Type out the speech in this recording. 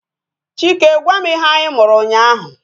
Chike gwam ihe anyi mụrụ ụnyaahụ